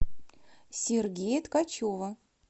сергея ткачева